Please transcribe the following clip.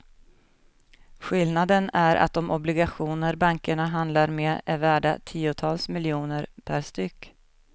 Skillnaden är att de obligationer bankerna handlar med är värda tiotals miljoner per styck.